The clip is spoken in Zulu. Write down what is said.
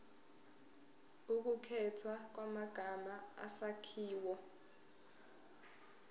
ukukhethwa kwamagama isakhiwo